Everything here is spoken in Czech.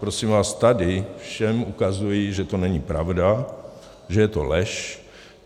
Prosím vás, tady všem ukazuji, že to není pravda, že to je lež.